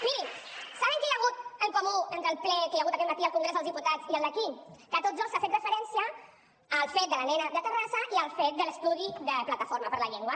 mirin saben que hi ha hagut en comú entre el ple que hi ha hagut aquest matí al congrés dels diputats i el d’aquí que a tots dos s’ha fet referència al fet de la nena de terrassa i al fet de l’estudi de plataforma per la llengua